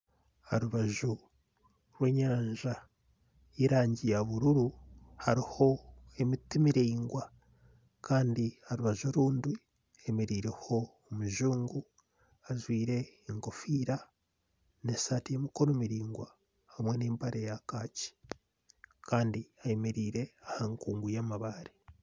Aha rubaju rw'enyanja y'erangi ya bururu hariho emiti miraingwa kandi aha rubaju orundi hemereireho omujungu ajwaire enkofiira n'esaati y'emikono miraingwa n'empare ya kaaki. Kandi ayemereire aha nkungu y'amabaare.